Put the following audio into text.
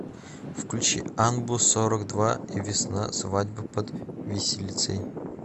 включи анбу сорок два и весна свадьба под виселицей